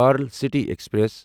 پارن city express